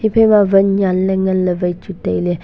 ephaima ma wan nyanley nganley wai chu tailey.